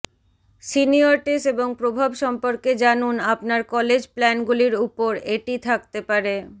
senioritis এবং প্রভাব সম্পর্কে জানুন আপনার কলেজ প্ল্যানগুলির উপর এটি থাকতে পারে